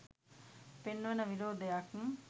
පෙන්වන විරෝධයක්.